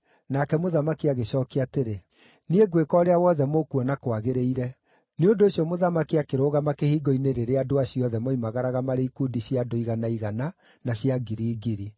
Nake mũthamaki agĩcookia atĩrĩ, “Niĩ ngwĩka ũrĩa wothe mũkuona kwagĩrĩire.” Nĩ ũndũ ũcio mũthamaki akĩrũgama kĩhingo-inĩ rĩrĩa andũ acio othe moimagaraga marĩ ikundi cia andũ igana igana, na cia ngiri ngiri.